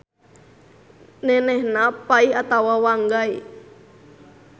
Nenehna Pai atawa Wanggai.